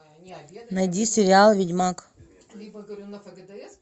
найди сериал ведьмак